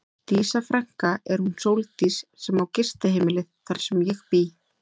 Dísa frænka er hún Sóldís sem á gistiheimilið þar sem ég bý.